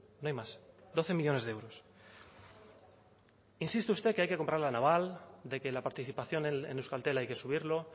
no hay más doce millónes de euros insiste usted que hay que comprar la naval de que la participación en euskaltel hay que subirlo